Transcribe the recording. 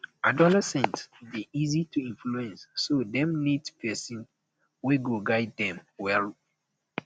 adolescents de um easy to influence so um dem need persin wey go guide dem um well